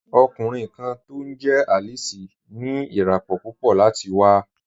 Ọ̀kùnriǹ kan tó wà Alice ní iràpọ̀ púpọ̀ láti wà.